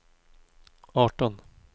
arton